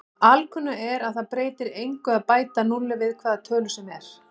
Alkunna er að það breytir engu að bæta núlli við hvaða tölu sem er.